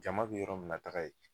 Jama be yɔrɔ min na taga yen